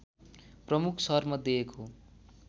प्रमुख सहरमध्ये एक हो